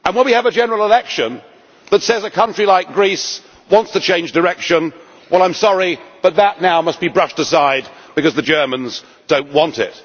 And when we have a general election that says a country like Greece wants to change direction, well I am sorry, but that now must be brushed aside because the Germans do not want it.